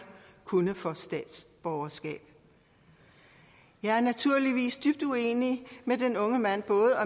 kunne få statsborgerskab jeg er naturligvis dybt uenig med den unge mand både